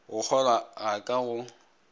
go kgolwa ga ka go